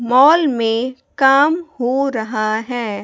Mall में काम हो रहा हैं।